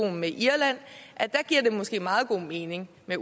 med irland giver det måske meget god mening med